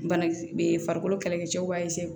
Bana farikolo kɛlɛkɛcɛw b'a